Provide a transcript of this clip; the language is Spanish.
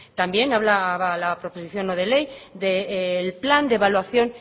también hablaba la proposición no de ley del plan de evaluación